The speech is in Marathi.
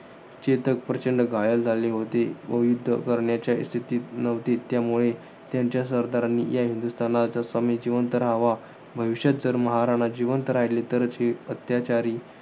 चेतक प्रचंड घायाळ झाले होते. व युध्द करण्याच्या स्थितीत नव्हते, त्यामुळे त्यांच्या सरदारांनी या हिंदुस्थानचा स्वामी जिवंत राहावा. भविष्यात जर महाराणा जिवंत राहिले तरच हे अत्त्याचारी